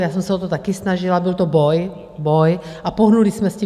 Já jsem se o to také snažila, byl to boj, boj, a pohnuli jsme s tím.